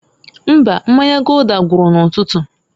Mbaǃ Mmanya Gulder gwuru n'ụtụtụ.